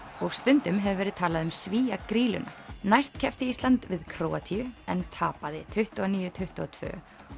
og stundum hefur verið talað um Svía grýluna næst keppti Ísland við Króatíu en tapaði tuttugu og níu til tuttugu og tvö